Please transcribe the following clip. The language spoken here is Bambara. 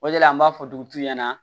O de la an b'a fɔ dugutigiw ɲɛna